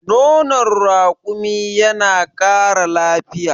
nonon rakumi yana Kara lafiya